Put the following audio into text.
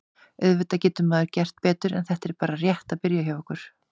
Auðvitað getur maður gert betur en þetta er bara rétt að byrja hjá okkur.